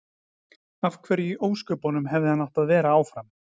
Af hverju í ósköpunum hefði hann átt að vera áfram?